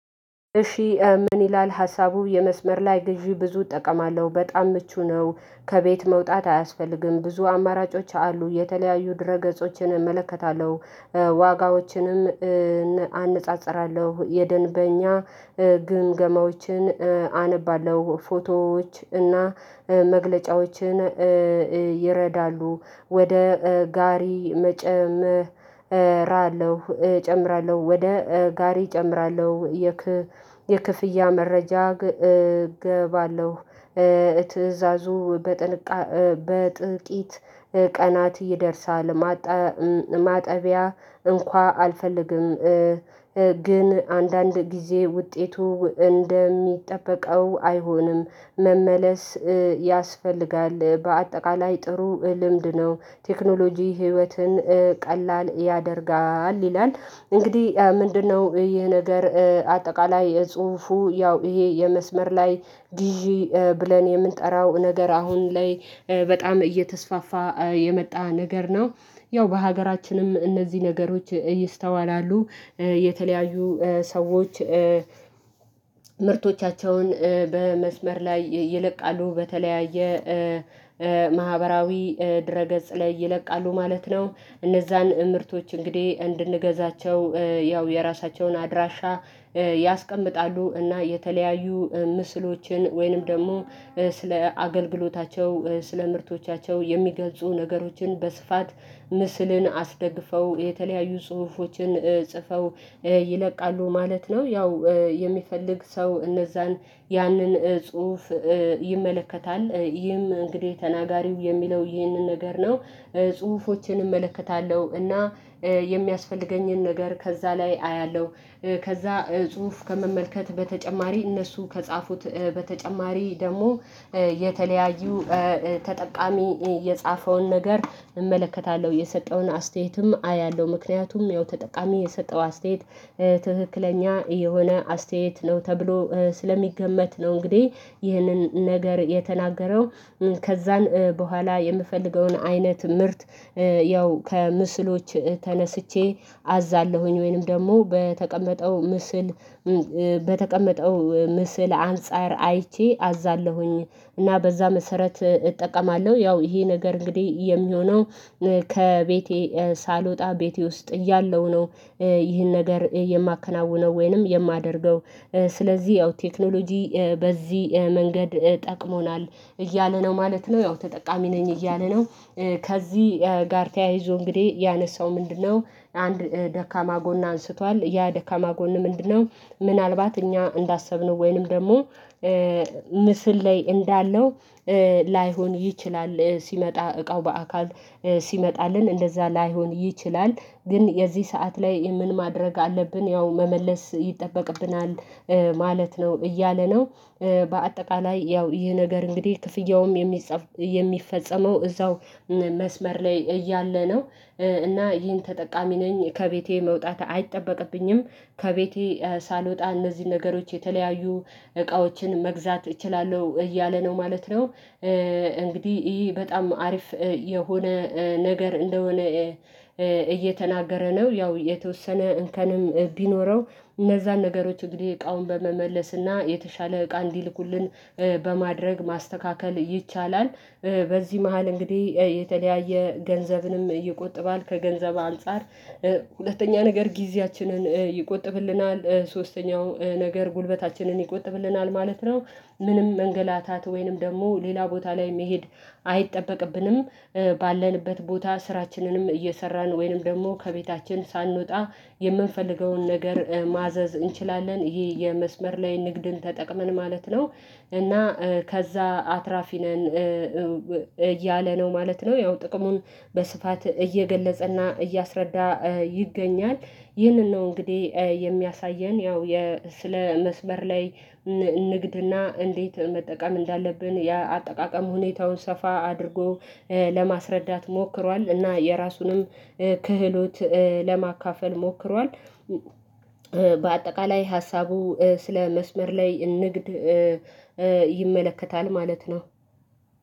እሺ ምን ይላል ሀሳቡ የመስመር ላይ ግዢ ብዙ እጠቀማለሁ በጣም ምቹ ነው። ከቤት መውጣት አያስፈልግም ብዙ አማራጮች አሉ የተለያዩ ድረገጾችን እመለከታለሁ። ዋጋዎችንም አነጻጽራለሁ የደንበኛ ግምገማዎችን አነባለሁ ፎቶዎች እና መግለጫዎችን ይረዳሉ ወደ ጋሪ መጨም መጨምራለሁ እጨምራለሁ ወደ ጋሪ እጨምራለሁ። የክፍያ መረጃ እባለሁ ትእዛዙ በጥቂት ቀናት ይደርሳል ማጠቢያ እንኳን አልፈልግም። ግን አንዳንድ ጊዜ ውጤቱ እንደሚጠበቀው አይሆንም መመለስ ያስፈልጋል በአጠቃላይ ጥሩ ልምድ ነው። ቴክኖሎጂ ህይወትን ቀላል ያደርጋል ይላል። እንግዲህ ምንድነው ይህ ነገር አጠቃላይ የጽሁፉ ያው ይሄ የመስመር ላይ ግዢ ብለን የምንጠራው ነገር አሁን ላይ በጣም እየተስፋፋ የመጣ ነገር ነው። ያው በሀገራችንም እነዚህ ነገሮች ይስተዋላሉ የተለያዩ ሰዎች ምርቶቻቸውን በመስመር ላይ ይለቃሉ በተለያየ ማህበራዊ ድረ ገጽ ላይ ይለቃሉ ማለት ነው። እነዛን ምርቶች እንግዲህ እንድንገዛቸው ያው የራሳቸውን አድራሻ ያስቀምጣሉ እና የተለያዩ ምስሎችን ወይንም ደግሞ ስለ አገልግሎታቸው ስለ ምርቶቻቸው የሚገልጹ ነገሮችን በስፋት ምስልን አስደግፈው የተለያዩ ጽሁፎችን ጽፈው ይለቃሉ ማለት ነው። ያው የሚፈልግ ሰው እነዛን ያንን ጽሁፍ ይመለከታል ይህም እንግዲህ ተናጋሪው የሚለው ይህንን ነገር ነው። ጽሁፎችን እመለከታለሁ እና የሚያስፈልገኝን ነገር ከዛ ላይ አያለሁ። ከዛ ጽሁፍ ከመመልከት በተጨማሪ እነሱ ከጻፉት በተጨማሪ ደሞ የተለያዩ ተጠቃሚ የጻፈውን ነገር እመለከታለሁ የሰጠውን አስተያየትም አያለሁ ምክንያቱም ያው ተጠቃሚ የሰጠው አስተያየት ትክክለኛ የሆነ አስተያየት ነው ተብሎ ስለሚገመት ነው። እንግዲህ ይህንን ነገር የተናገረው ከዛን በኋላ የምፈልገውን አይነት ምርት ያው ከምስሎች ተነስቼ አዛለሁኝ ወይንም ደግሞ በተቀመጠው ምስል በተቀመጠው ምስል አንፃር አይቼ አዛለሁኝ። እና በዛ መሰረት እጠቀማለሁ ያው ይሄ ነገር እንግዲህ የሚሆነው ከቤቴ ሳልወጣ ቤቴ ውስጥ እያለው ነው። ይሄን ነገር የማከናውነው ወይንም የማደርገው ስለዚህ ያው ቴክኖሎጂ በዚህ መንገድ ጠቅሞናል እያለ ነው ማለት ነው ያው ተጠቃሚ ነኝ እያለ ነው። ከዚህ ጋር ተያይዞ እንግዲህ ያነሳው ምንድነው? አንድ ደካማ ጎን አንስቷል ያ ደካማ ጎን ምንድነው? ምናልባት እኛ እንዳሰብነው ወይንም ደግሞ ምስል ላይ እንዳለው ላይሆን ይችላል ሲመጣ እቃው በአካል ሲመጣልን እንደዛ ላይሆን ይችላል። ግን የዚህ ሰዓት ላይ ምን ማድረግ አለብን ያው መመለስ ይጠበቅብናል። ማለት ነው እያለ ነው በአጠቃላይ ያው ይህ ነገር እንግዲህ ክፍያውም የሚፈጸመው እዛው መስመር ላይ እያለ ነው። እና ይህን ተጠቃሚ ነኝ ከቤቴ መውጣት አይጠበቅብኝም ከቤቴ ሳልወጣ እነዚህን ነገሮች የተለያዩ እቃዎችን መግዛት እችላለሁ እያለ ነው ማለት ነው። እንግዲህ ይሄ በጣም አሪፍ የሆነ ነገር እንደሆነ እየተናገረ ነው ያው የተወሰነ እንከንም ቢኖረው እነዛን ነገሮች እንግዲህ እቃውን በመመለስና የተሻለ እቃ እንዲልኩልን በማድረግ ማስተካከል ይቻላል። በዚህ መሃል እንግዲህ የተለያየ ገንዘብንም ይቆጥባል ከገንዘብ አንፃር ሁለተኛ ነገር ጊዜያችንን ይቆጥብልናል ሶስተኛው ነገር ጉልበታችንን ይቆጥብልናል ማለት ነው። ምንም መንገላታት ወይንም ደግሞ ሌላ ቦታ ላይ መሄድ አይጠበቅብንም። ባለንበት ቦታ ስራችንንም እየሰራን ወይንም ደግሞ ከቤታችን ሳንወጣ የምንፈልገውን ነገር ማዘዝ እንችላለን ይሄ የመስመር ላይ ንግድን ተጠቅመን ማለት ነው። እና ከዛ አትራፊ ነን እያለ ነው ማለት ነው ያው ጥቅሙን በስፋት እየገለጸና እያስረዳ ይገኛል። ይህንን ነው እንግዲህ የሚያሳየን ያው ስለ መስበር ላይ ንግድና እንዴት? መጠቀም እንዳለብን የአጠቃቀም ሁኔታውን ሰፋ አድርጎ ለማስረዳት ሞክሯል እና የራሱንም ክህሎት ለማካፈል ሞክሯል። በአጠቃላይ ሀሳቡ ስለ መስመር ላይ ንግድ ይመለከታል ማለት ነው።